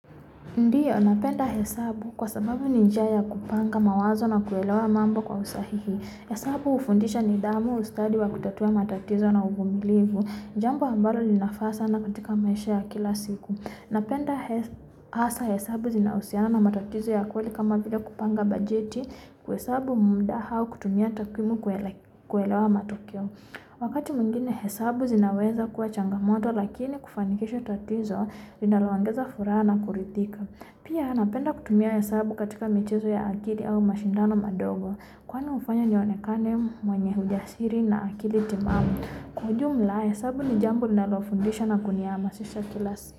Ndiyo, napenda hesabu kwa sababu ni njia ya kupanga mawazo na kuelewa mambo kwa usahihi. Hesabu hufundisha nidhamu ustadi wa kutatua matatizo na uvumilivu. Jambo ambalo linafaa sana katika maisha ya kila siku. Napenda hasa hesabu zinaohusiana matatizo ya kweli kama vile kupanga bajeti kuesabu muda hau kutumia takrimu kuelewa matukio. Wakati mwingine hesabu zinaweza kuwa changamoto, lakini kufanikisha tatizo linaloongeza furaha na kuridhika. Pia, napenda kutumia hesabu katika michezo ya akili au mashindano madogo. Kwani hufanya nionekane mwenye ujasiri na akili timamu? Kwa ujumla, hesabu ni jambo linalofundisha na kunihamasisha kila siku.